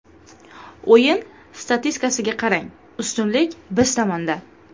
O‘yin statistikasiga qarang, ustunlik biz tomonda.